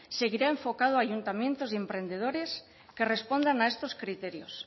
seguirá enfocado a ayuntamientos y emprendedores que respondan a estos criterios